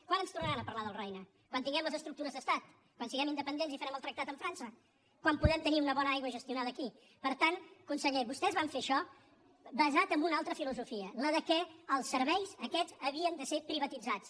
quan ens tornaran a parlar del roine quan tinguem les estructures d’estat quan siguem independents i farem el tractat amb frança quan podrem tenir una bona aigua gestionada aquí per tant consellers vostès van fer això basat en una altra filosofia la que els serveis aquests havien de ser privatitzats